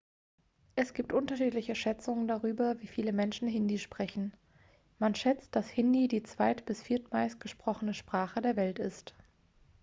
es gibt unterschiedliche schätzungen darüber wie viele menschen hindi sprechen man schätzt dass hindi die zweit bis viertmeist gesprochene sprache der welt ist